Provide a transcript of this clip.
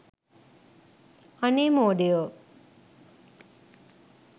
අනේ මෝඩයෝ